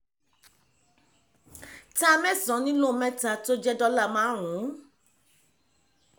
ta mẹ́san nílò méta tó jẹ́ dọ́là márùn-ún